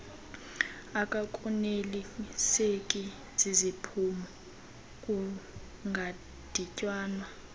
akakoneliseki ziziphumo kungadityanwa